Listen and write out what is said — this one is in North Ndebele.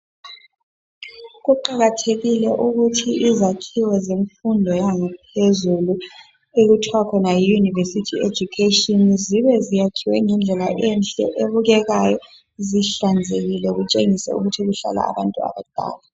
Kuqakathekile ukuthi izakhiwo zemfundo yaphezulu okuthwa khona yi university education zibe zakhiwe ngendlela enhle ebukekayo zihlanzekile zitshengise ukuthi kuhlala abantu abadala